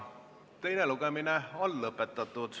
Teine lugemine on lõpetatud.